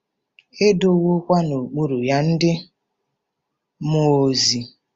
E “dowokwa n'okpuru ya” ndị mmụọ ozi.